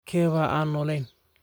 Keebaa aan noolayn?